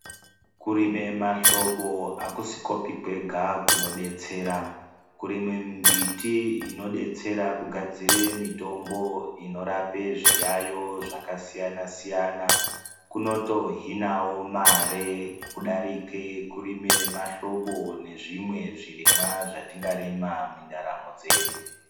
Kurime mahlobo akusikopi kwega kunodetsera, kurime mbiti inodetsera kugadzire mitombo inorape zviyayo zvakasiyana siyana kunotohinawo mare kudarike kurime mahlobo nezvimwe zvirimwa zvatingarima mindaramo dzedu.